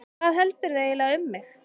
Hvað heldurðu eiginlega um mig!